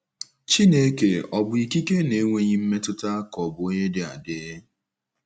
Chineke ọ̀ bụ ikike na-enweghị mmetụta ka ọ̀ bụ onye dị adị?